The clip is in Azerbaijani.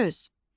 söz.